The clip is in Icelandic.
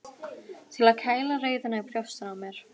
Til að kæla reiðina í brjóstinu á mér.